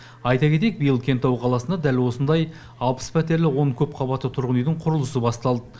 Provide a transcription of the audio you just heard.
айта кетейік биыл кентау қаласында дәл осындай алпыс пәтерлі он көпқабатты тұрғын үйдің құрылысы басталды